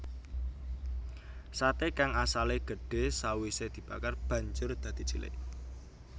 Sate kang asale gedhe sawise dibakar banjur dadi cilik